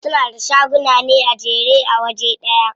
Suna da shaguna ne a jere a waje ɗaya.